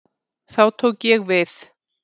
Þá tók ég við.